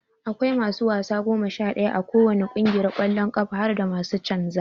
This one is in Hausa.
Aƙwai masu wasa goma Sha daya a ko wani kungiyar kwallon kafa harda masu canza.